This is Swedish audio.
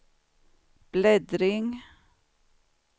bläddring